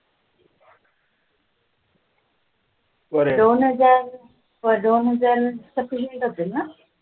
दोन हजार दोन हजार sufficient असेल ना